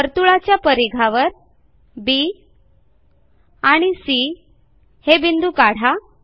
वर्तुळाच्या परिघावर बी आणि सी हे बिंदू काढा